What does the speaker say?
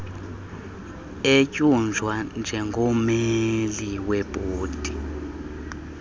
etyunjwa njengommeli webhodi